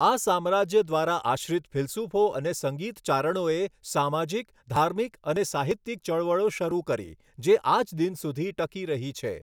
આ સામ્રાજ્ય દ્વારા આશ્રિત ફિલસૂફો અને સંગીત ચારણોએ સામાજિક ધાર્મિક અને સાહિત્યિક ચળવળો શરૂ કરી જે આજ દિન સુધી ટકી રહી છે.